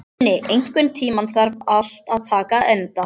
Uni, einhvern tímann þarf allt að taka enda.